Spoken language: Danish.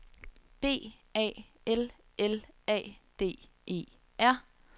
B A L L A D E R